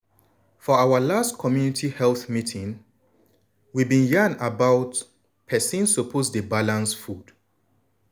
for our last community health meeting we bin yarn about persin suppose dey balance food.